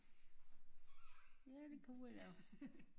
Ja det kunne vi da